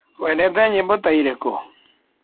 Wendete nyĩmbo ta irĩkũ?